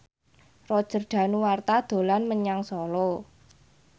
Roger Danuarta dolan menyang Solo